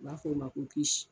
U b'a fo ma ko kisi